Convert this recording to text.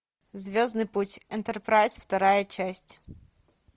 звездный путь энтерпрайз вторая часть